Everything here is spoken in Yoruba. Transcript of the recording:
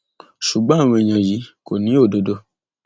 ṣùgbọn àwọn èèyàn yìí kò ní òdodo